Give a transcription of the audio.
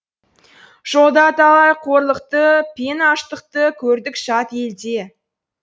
жолда талай қорлықты пен аштықты көрдік жат елде